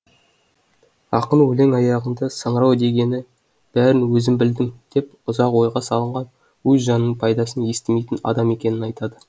ақын өлең аяғында саңырау дегені бәрін өзім білдім деп ұзақ ойға салынған өз жанының пайдасын естімейтін адам екенін айтады